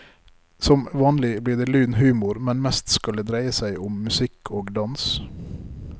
Som vanlig blir det lun humor, men mest skal det dreie seg om musikk og dans.